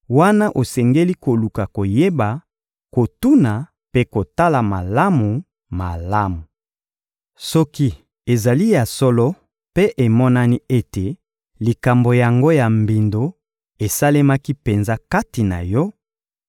wana osengeli koluka koyeba, kotuna mpe kotala malamu-malamu. Soki ezali ya solo mpe emonani ete likambo yango ya mbindo esalemaki penza kati na yo,